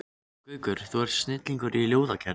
Gaukur, þú ert snillingur í ljóðagerð.